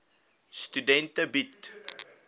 studente bied